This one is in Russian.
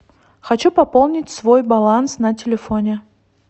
хочу пополнить свой баланс на телефоне